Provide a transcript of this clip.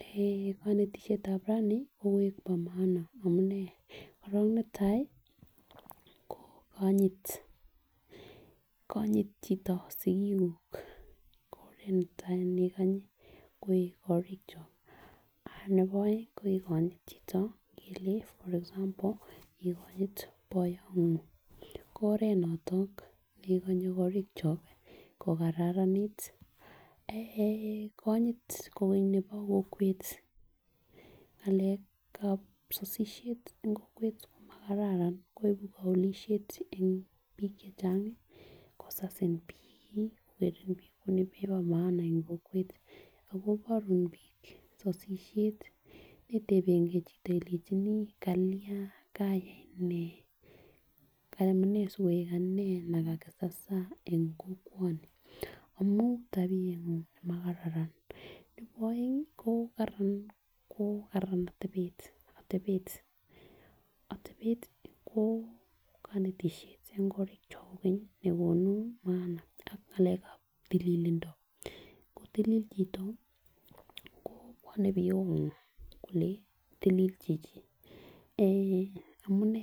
eh konetishetab rani ko koik bo maana amunee korong netai ko kinyit konyit chito sikikuk ko oret netai nekanyi en korokyok ah nebo oeng ko inkonyit chito ingele for example inkonyit boyongung ko oret niton nekonye korokyok ko kararanit. Eh konyit kogeny nebo kokwet ngalekab sosisiet en kokwet komakararan ko ibu koulishet en bik chechangi kosasin bik kokerit bik kouwon nebo maana en kokwet ak koborun bik sosisiet neetebengee chito ilenjini Kalyan kayai nee amunee sikoik anee nekasasan en kokwoni amun tabiengung nemakararan. Nebo oeng ko Karan ko Karan otebet otebet ko konetishet en korikyok nekonu maana ak ngalekab tililindo, kotililit chito ko bwone biut ngung kole tilil chichi en amunee.